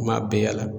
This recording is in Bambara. Kuma bɛɛ yaala